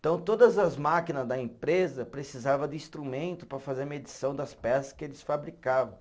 Então, todas as máquina da empresa precisava de instrumento para fazer a medição das peça que eles fabricavam.